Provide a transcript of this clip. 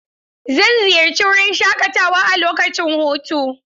Zan ziyarci wurin shaƙatawa a lokacin hutu.